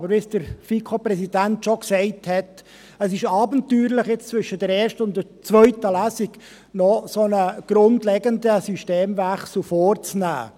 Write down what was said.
Aber wie der FiKoPräsident schon sagte, ist es abenteuerlich, jetzt zwischen der ersten und zweiten Lesung einen solch grundlegenden Systemwechsel vorzunehmen.